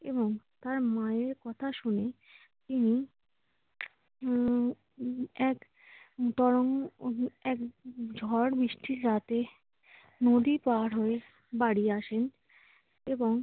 এবং তার মায়ের কথা শুনে তিনি উম এক এক ঝড়-বৃষ্টির রাতে নদী পাড় হয়ে বাড়ি আসেন।